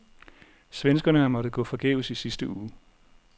Svenskerne har måttet gå forgæves i sidste uge.